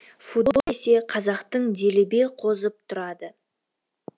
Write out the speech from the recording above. футбол десе қазақтың делебе қозып тұрады